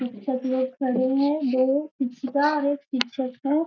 सब लोग खड़े हैं। दो और एक पिक्चर है।